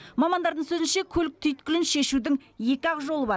мамандардың сөзінше көлік түйткілін шешудің екі ақ жолы бар